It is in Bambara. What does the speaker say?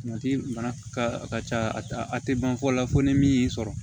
mana ka ca a tɛ ban fɔ la fo ni min y'i sɔrɔ